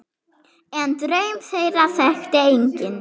En draum þeirra þekkti enginn.